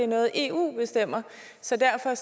noget eu bestemmer så derfor